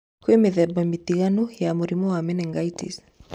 Kwĩ mĩthemba mĩtinganu ya mũrimũ wa menengitis.